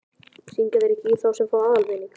Hringja þeir ekki í þá sem fá aðalvinning?